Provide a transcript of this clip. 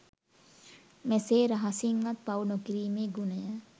මෙසේ රහසින්වත් පව් නොකිරීමේ ගුණය